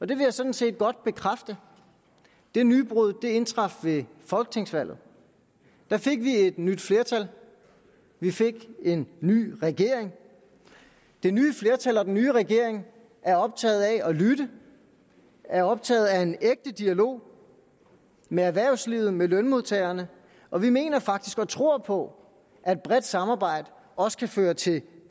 det vil jeg sådan set godt bekræfte det nybrud indtraf ved folketingsvalget der fik vi et nyt flertal vi fik en ny regering det nye flertal og den nye regering er optaget af at lytte er optaget af en ægte dialog med erhvervslivet med lønmodtagerne og vi mener faktisk og tror på at et bredt samarbejde også kan føre til